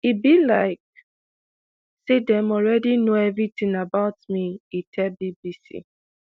e be like say dem already know everything about me e tell bbc